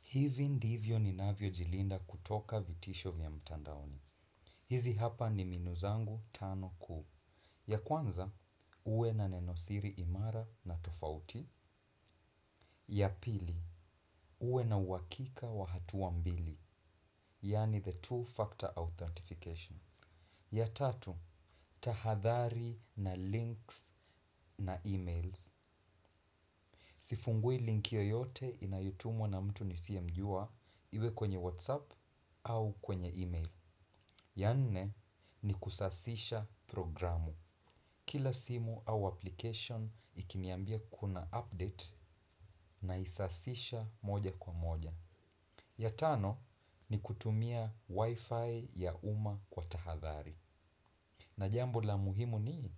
Hivi ndivyo ninavyo jilinda kutoka vitisho vya mtandaoni. Hizi hapa ni mbinu zangu tano kuu. Ya kwanza, uwe na neno siri imara na tofauti. Ya pili, uwe na uhaakika wa hatua mbili. Yani the two factor authentification. Ya tatu, tahadhari na links na emails. Sifungui linki yoyote inayo tumwa na mtu nisiyemjua iwe kwenye whatsapp au kwenye email. Ya nne ni kusasisha programu. Kila simu au application ikiniambia kuna update naisasisha moja kwa moja. Ya tano ni kutumia wifi ya uma kwa tahadhari. Na jambo la muhimu ni